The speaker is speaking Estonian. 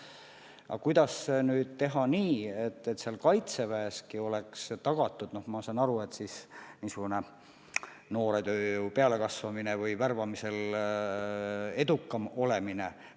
Aga kuidas nüüd teha nii, et Kaitseväes oleks tagatud noore tööjõu pealekasvamine või värbamisel edukam olemine?